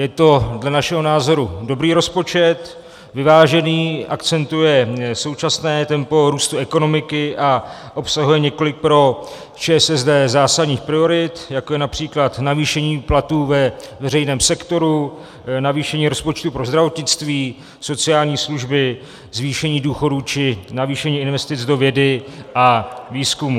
Je to dle našeho názoru dobrý rozpočet, vyvážený, akcentuje současné tempo růstu ekonomiky a obsahuje několik pro ČSSD zásadních priorit, jako je například navýšení platů ve veřejném sektoru, navýšení rozpočtu pro zdravotnictví, sociální služby, zvýšení důchodů či navýšení investic do vědy a výzkumu.